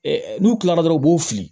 n'u kilara dɔrɔn u b'u fili